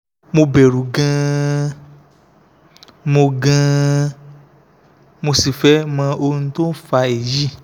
mo bẹ̀rù gan-an mo gan-an mo sì fẹ́ mọ ohun tó ń fa èyí